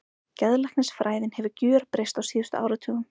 Geðlæknisfræðin hefur gjörbreyst á síðustu áratugum.